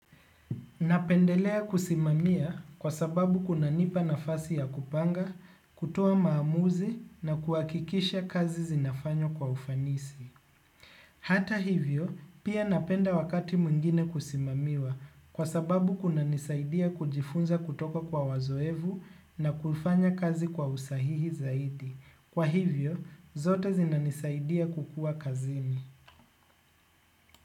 Napendelea kusimamia kwa sababu kunanipa nafasi ya kupanga, kutoa maamuzi na kuhakikisha kazi zinafanywa kwa ufanisi. Hata hivyo, pia napenda wakati mwingine kusimamiwa kwa sababu kuna nisaidia kujifunza kutoka kwa wazoefu na kufanya kazi kwa usahihi zaidi. Kwa hivyo, zote zina nisaidia kukua kazini.